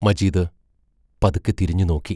മജീദ് പതുക്കെ തിരിഞ്ഞുനോക്കി.